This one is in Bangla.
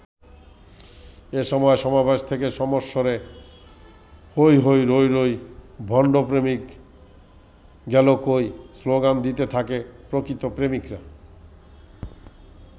এ সময় সমাবেশ থেকে সমস্বরে ‘হৈ হৈ রৈ রৈ, ভণ্ড প্রেমিক গেলো কই’ স্লোগান দিতে থাকে প্রকৃত প্রেমিকরা।